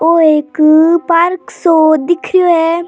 यो एक पार्क सो दिखे है।